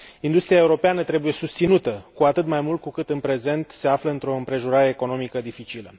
Industria europeană trebuie susținută, cu atât mai mult cu cât în prezent se află într o împrejurare economică dificilă.